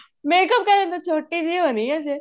makeup ਕਰਨ ਦਾ ਛੋਟੀ ਜੀ ਹੋਣੀ ਏ ਅਜੇ